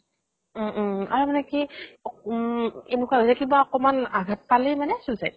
উম উম আৰু মানে কি উম এনেকুৱা হৈছে কিবা অকনমান আঘাত পালেই মানে suicide